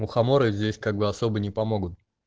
мухоморы здесь как бы особо не помогут